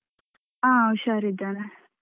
ಅ ಹುಷಾರಿದ್ದೇನೆ.